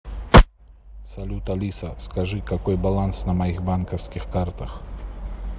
салют алиса скажи какой баланс на моих банковских картах